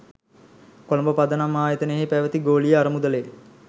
කොළඹ පදනම් ආයතනයෙහි පැවැති ගෝලීය අරමුදලෙ